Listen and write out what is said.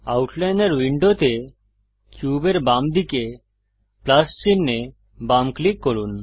আউটলাইনর উইন্ডোতে কিউবের বাম দিকে প্লাস চিনহে বাম ক্লিক করুন